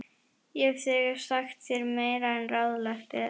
Ég hef þegar sagt þér meira en ráðlegt er.